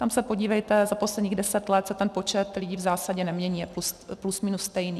Tam se podívejte, za posledních deset let se ten počet lidí v zásadě nemění, je plus minus stejný.